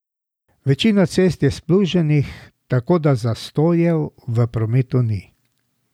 Večina cest je spluženih, tako da zastojev v prometu ni.